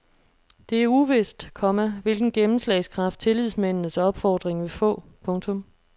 Det er uvist, komma hvilken gennemslagskraft tillidsmændenes opfordring vil få. punktum